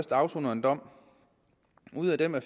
der afsoner en dom og ud af dem er